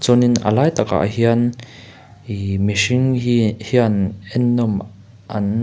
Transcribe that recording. chuanin a lai takah hian ihh mihring hi hian ennawm an--